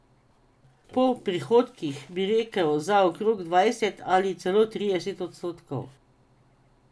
Po prihodkih bi rekel, da za okrog dvajset ali celo trideset odstotkov.